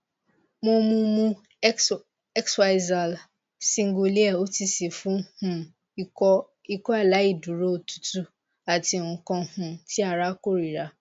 mo mu mu xyzal singulair otc fún um ikọ aláì dúró òtútù àti nkan um tí ara kórira